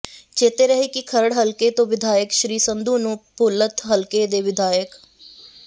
ਚੇਤੇ ਰਹੇ ਕਿ ਖਰੜ ਹਲਕੇ ਤੋਂ ਵਿਧਾਇਕ ਸ੍ਰੀ ਸੰਧੂ ਨੂੰ ਭੁਲੱਥ ਹਲਕੇ ਦੇ ਵਿਧਾਇਕ